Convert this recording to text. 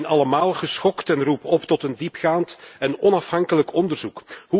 We zijn allemaal geschokt en roepen op tot een diepgaand en onafhankelijk onderzoek.